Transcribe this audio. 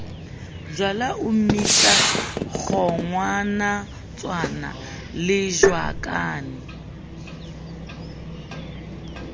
jwala o mmitsa kgowanatshwana lejakane